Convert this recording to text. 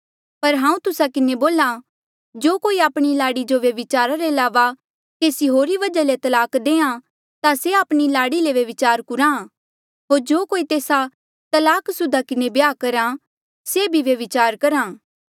पर हांऊँ तुस्सा किन्हें बोल्हा कि जो कोई आपणी लाड़ी जो व्यभिचारा रे अलावा केसी होर वजहा ले तलाक देहां ता से आपणी लाड़ी ले व्यभिचार कुराहां होर जो कोई तेस्सा तलाकसुदा किन्हें ब्याह करहा से भी व्यभिचार करहा